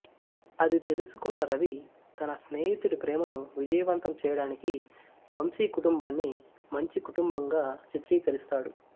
అది తెలుసుకున్న రవి తన స్నేహితుడి ప్రేమను విజయవంతం చేయడానికి వంశీ కుటుంబాన్ని మంచి కుటుంబంగా చిత్రీకరిస్తాఅడు